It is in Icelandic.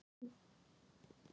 Guð þig ávallt geymi.